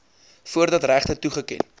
voordat regte toegeken